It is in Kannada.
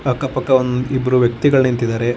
ಅಕ್ಕ ಪಕ್ಕ ಒಂದ್ ಇಬ್ಬರು ವ್ಯಕ್ತಿಗಳ ನಿಂತ್ತಿದ್ದಾರೆ.